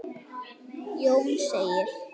Jón segir